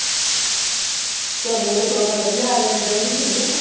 ਤੁਹਾਡੇ ਲਈ ਤਾਂ ਕਰੋਨਾ ਵਧੀਆ ਆ ਗਿਆ ਚੀਜ਼ਾਂ ਤਾਂ ਸਿਖ ਲਈਆਂ